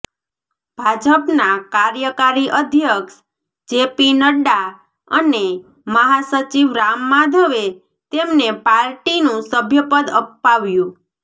ભાજપના કાર્યકારી અધ્યક્ષ જેપી નડ્ડા અને મહાસચિવ રામ માધવે તેમને પાર્ટીનું સભ્યપદ અપાવ્યું